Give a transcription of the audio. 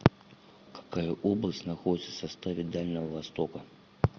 какая область находится в составе дальнего востока